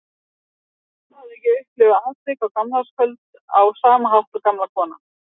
Og hún hafði ekki upplifað atvikið á gamlárskvöld á sama hátt og gamla konan.